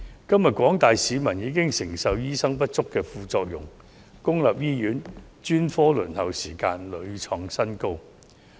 今天廣大市民已承受醫生人手不足的副作用，公營醫院專科輪候時間屢創新高。